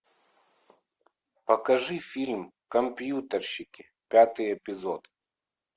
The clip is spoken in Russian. покажи фильм компьютерщики пятый эпизод